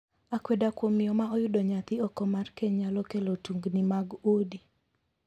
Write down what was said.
Akweda kuom miyo ma oyudo nyathi oko mar keny nyalo kelo tungni mag udi.